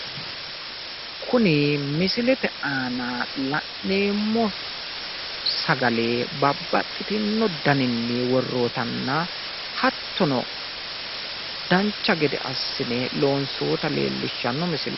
Kuni misilete aana la'neemmo sagale babbaxxitinno daninni worroyitanna hattono dancha gede assine loonsoyita leellishshanno misileeti.